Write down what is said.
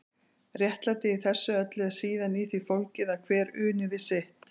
Réttlætið í þessu öllu er síðan í því fólgið að hver uni við sitt.